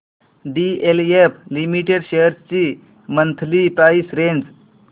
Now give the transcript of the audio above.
DLF limited shares ची monthly price range